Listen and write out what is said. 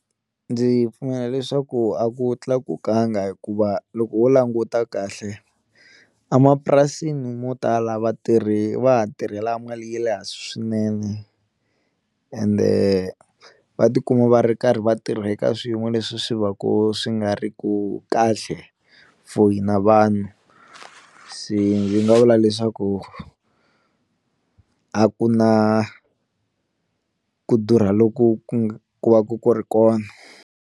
Ndzi pfumela leswaku a ku tlakukanga hikuva loko ho languta kahle a mapurasini mo tala vatirhi va ha tirhela mali ya le hansi swinene ende va tikuma va ri karhi va tirha eka swiyimo leswi swi va ku swi nga ri ku kahle for hina vanhu se ndzi nga vula leswaku a ku na ku durha loku ku ku va ku ku ri kona.